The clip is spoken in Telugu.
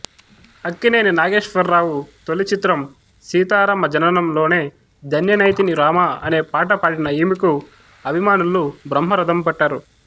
అక్కినేని నాగేశ్వరరావు తొలిచిత్రం సీతారామ జననంలో నే ధన్యనైతిని రామా అనే పాట పాడిన ఈమెకు అభిమానులు బ్రహ్మరథం పట్టారు